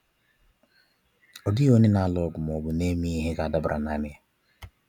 Ọ dịghị onye n'alụ ọgụ ma ọbụ n'eme ihe ga adabara nanị ya.